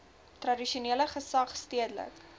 tradisionele gesag stedelike